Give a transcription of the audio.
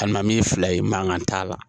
Hal'an mi fila ye mankan t'a la